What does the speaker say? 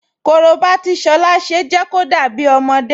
Korobá tí Ṣọlá ṣe jẹ́ kó dàbí ọmọdé